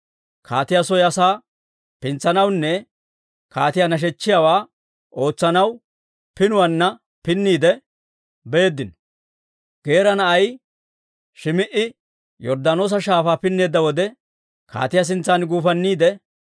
Kaatiyaa soo asaa pintsanawunne kaatiyaa nashechchiyaawaa ootsanaw pinuwaanna pinniide beeddino. Geera na'ay Shim"i Yorddaanoosa Shaafaa pinneedda wode, kaatiyaa sintsan guufanniide,